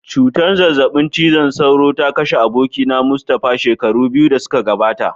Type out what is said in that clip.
Cutar zazzabin cizon sauro ta kashe abokina Mustapha shekaru biyu da suka gabata.